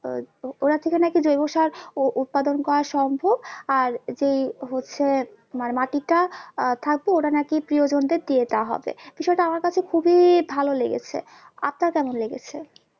আহ ওটা থেকে নাকি জৈব সার উ~ উৎপাদন করা সম্ভব আর যে হচ্ছে মানে মাটিটা আহ থাকবে ওটা নাকি প্রিয়জনদের দিয়ে দেওয়া হবে বিষয়টা আমার কাছে খুবই ভালো লেগেছে আপনার কেমন লেগেছে?